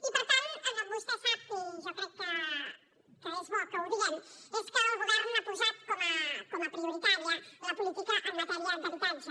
i per tant vostè sap i jo crec que és bo que ho diguem que el govern ha posat com a prioritària la política en matèria d’habitatge